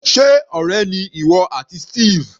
Sé ọ̀rẹ́ ni ìwọ àti Steve?